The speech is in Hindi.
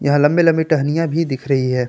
लंबी लंबी टहनियां भी दिख रही है।